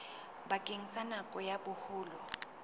bakeng sa nako ya boholo